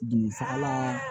Dugu saga la